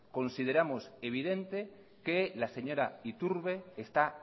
consideramos evidente que la señora iturbe está